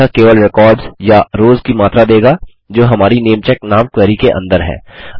यह केवल रिकॉर्ड्स या रोस की मात्रा देगा जोकि हमारी नेमचेक नामक क्वेरी के अंदर हैं